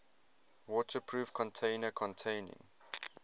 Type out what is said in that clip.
waterproof container containing